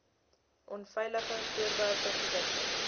onveilige voorwerpe produkte